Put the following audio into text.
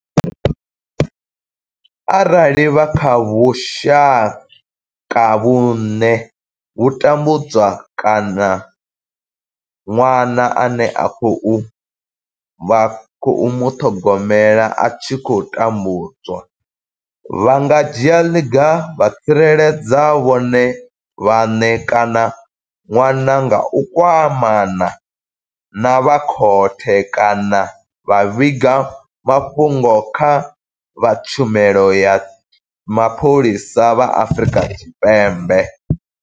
Arali vha kha vhushaka vhune vha tambudzwa kana ṅwana ane vha khou muṱhogomela a tshi khou tambudzwa, vha nga dzhia ḽiga vha tsireledza vhone vhaṋe kana ṅwana nga u kwamana na vha khothe kana vha vhiga mafhungo kha vha Tshumelo ya Mapholisa vha Afrika Tshipembe.